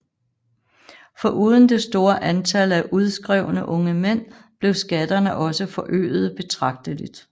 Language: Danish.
Foruden det store antal af udskrevne unge mænd blev skatterne også forøgede betragteligt